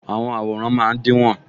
Àwọn àwòrán máa dínwó